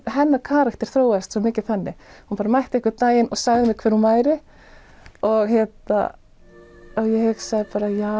hennar karakter þróaðist svo mikið þannig hún bara mætti einn daginn og sagði mér hver hún væri og ég hugsaði bara já